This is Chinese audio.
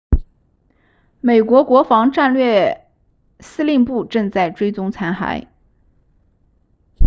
美国国防部战略司令部正在追踪残骸